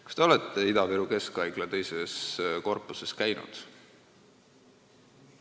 Kas te olete Ida-Viru Keskhaigla teises korpuses käinud?